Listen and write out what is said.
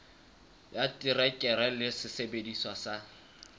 ya terekere le sesebediswa sa